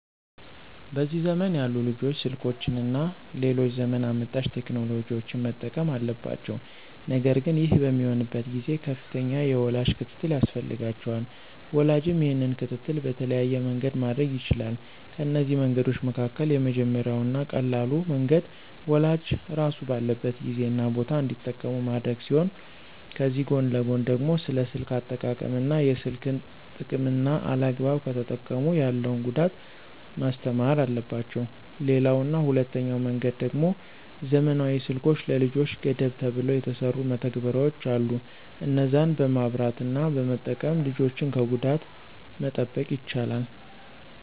በዚህ ዘመን ያሉ ልጆች ስልኮችን እና ሌሎች ዘመን አመጣሽ ቴክኖሎጂዎችን መጠቀም አለባቸው ነገር ግን ይህ በሚሆንበት ጊዜ ከፍተኛ የወላጅ ክትትል ያስፈልጋቸዋል። ወላጅም ይህንን ክትትል በተለያየ መንገድ ማድረግ ይችላል፤ ከነዚህ መንገዶች መካከል የመጀመሪያው እና ቀላሉ መንገድ ወላጅ ራሱ ባለበት ጊዜ እና ቦታ እንዲጠቀሙ ማድረግ ሲሆን ከዚህ ጎን ለጎን ደግሞ ስለ ስልክ አጠቃቀም እና የስልክን ጥቅምና አላግባብ ከተጠቀሙ ያለውን ጉዳት ማስተማር አለባቸው። ሌላው እና ሁለተኛው መንገድ ደሞ ዘመናዊ ስልኮች ለልጆች ገደብ ተብለው የተሰሩ መተግበሪያዎች አሉ እነዛን በማብራት እና በመጠቀም ልጆችን ከጉዳት መጠበቅ ይቻላል።